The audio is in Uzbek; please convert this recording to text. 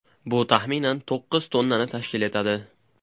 Bu, taxminan, to‘qqiz tonnani tashkil etadi.